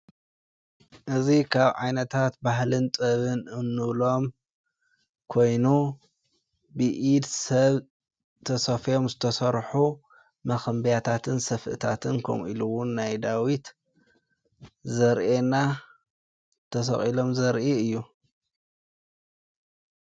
እዙ ኻብ ዓይነታት ባህልን ጥበብን እንብሎም ኮይኑ ብኢድ ሰብ ተሰፍዮም ዝተሰርሑ መኸንቢያታትን ሰፍእታትን ኮምኢሉውን ናይ ዳዊት ዘርኤና ተሰቂሎም ዘርኢ እዩ።